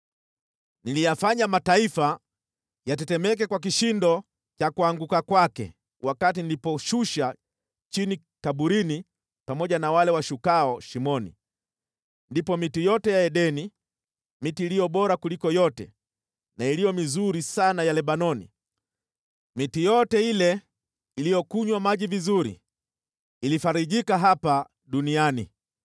Niliyafanya mataifa yatetemeke kwa kishindo cha kuanguka kwake wakati nilipoushusha chini kaburini pamoja na wale washukao shimoni. Ndipo miti yote ya Edeni, miti iliyo bora kuliko yote na iliyo mizuri sana ya Lebanoni, miti yote ile iliyokunywa maji vizuri, ilifarijika hapa duniani.